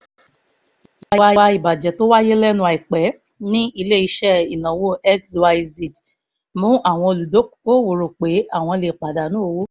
ìwà ìbàjẹ́ tó wáyé lẹ́nu àìpẹ́ ní ilé-iṣẹ́ ìnáwó xyz mú àwọn olùdókòwò rò pé àwọn lè pàdánù owó